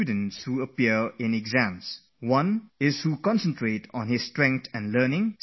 There are students who focus their attention on what they have studied, what they have learnt, and what are their strong points